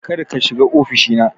Kar ka shiga ofishi na